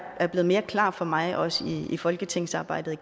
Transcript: er blevet mere klar for mig også i folketingsarbejdet